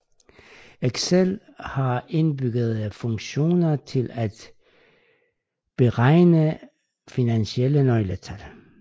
Excel har indbyggede funktioner til at beregne finansielle nøgletal